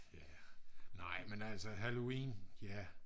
nej men altså halloween ja